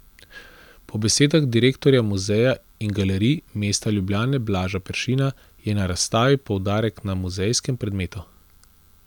Po besedah direktorja Muzeja in galerij mesta Ljubljane Blaža Peršina je na razstavi poudarek na muzejskem predmetu.